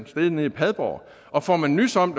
sted nede i padborg og får man nys om